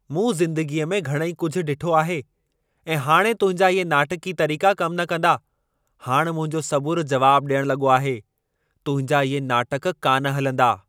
मूं ज़िंदगीअ में घणई कुझु डि॒ठो आहे ऐं हाणे तुंहिंजा इहे नाटकी तरीक़ा कम न कंदा। हाणि मुंहिंजो सबुर जवाब ॾियण लॻो आहे। तुंहिंजा इहे नाटक कान हलंदा।